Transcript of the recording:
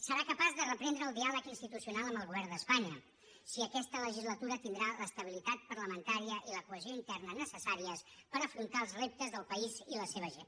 serà capaç de reprendre el diàleg institucional amb el govern d’espanya si aquesta legislatura tindrà l’estabilitat parlamentària i la cohesió interna necessàries per afrontar els reptes del país i la seva gent